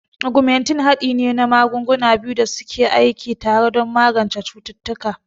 Ogmentin haɗi ne na magunguna biyu da suke ke aiki tare don magance cututtuka.